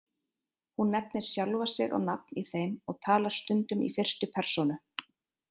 Hún nefnir sjálfa sig á nafn í þeim og talar stundum í fyrstu persónu.